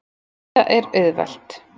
Þetta er auðvelt.